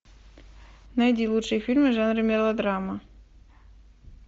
найди лучшие фильмы жанра мелодрама